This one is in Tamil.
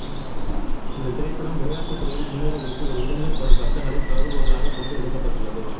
இந்த திரைப்படம் விளையாட்டுத்துறையில் முன்னேறுவதற்கு ஒரு இளைஞன் படும் கஷ்டங்களை கருபொருளாக கொண்டு எடுக்கப்பட்டுள்ளது